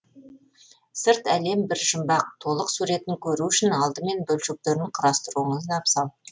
сырт әлем бір жұмбақ толық суретін көру үшін алдымен бөлшектерін құрастыруыңыз абзал